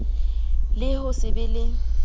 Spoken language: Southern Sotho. le ho se be le